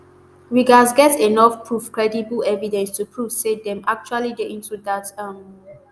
we gatz get enough proof credible evidence to prove say dem actually dey into dat um